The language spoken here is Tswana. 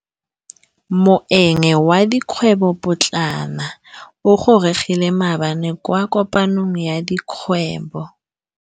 Moêng wa dikgwêbô pôtlana o gorogile maabane kwa kopanong ya dikgwêbô.